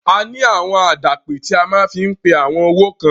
A ní àwọn àdàpè tí a máa fi ń pe àwọn owó kan.